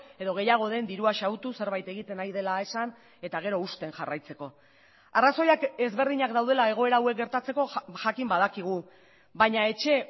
edo gehiago den dirua xahutu zerbait egiten ari dela esan eta gero husten jarraitzeko arrazoiak ezberdinak daudela egoera hauek gertatzeko jakin badakigu baina etxe